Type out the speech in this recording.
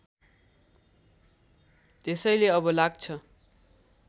त्यसैले अब लाग्छ